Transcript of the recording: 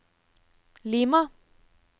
Lima